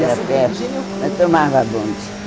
Era perto e a Santa Efigênia... Eu tomava bonde.